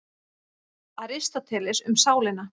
Aristóteles, Um sálina.